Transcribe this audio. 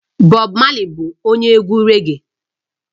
Bob marley bụ onye egwu raggae